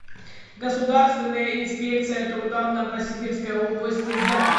государственная инспекция труда в новосибирской области запись